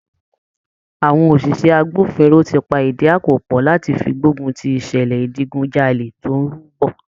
Àwọn òṣìṣẹ́ agbófinró ti pa ìdí àpò pọ̀ láti fi gbógun ti ìṣẹ̀lẹ̀ ìdigunjalè tí ó ń rú bọ̀.